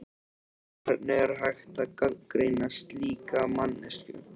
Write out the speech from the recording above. Hvernig er hægt að gagnrýna slíka manneskju?